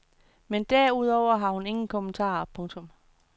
Men derudover har hun ingen kommentarer. punktum